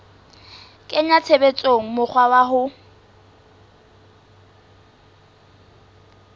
kenya tshebetsong mokgwa wa ho